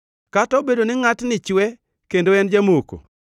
“Kata obedo ni ngʼatni chwe kendo en jamoko,